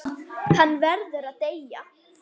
Hann verður að deyja.